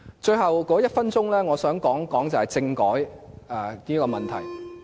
最後一分鐘，我想說說政改的問題。